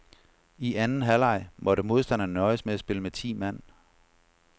I anden halvleg måtte modstanderne nøjes med at spille med ti mand.